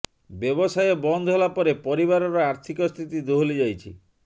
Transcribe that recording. ବ୍ୟବସାୟ ବନ୍ଦ ହେଲା ପରେ ପରିବାରର ଆର୍ଥିକ ସ୍ଥିତି ଦୋହଲି ଯାଇଛି